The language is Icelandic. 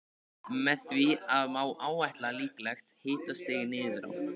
Með því má áætla líklegt hitastig niður á